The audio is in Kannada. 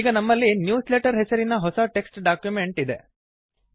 ಈಗ ನಮ್ಮಲ್ಲಿ ನ್ಯೂಸ್ಲೆಟರ್ ಹೆಸರಿನ ಹೊಸ ಟೆಕ್ಸ್ಟ್ ಡಾಕ್ಯುಮೆಂಟ್ ಇದೆ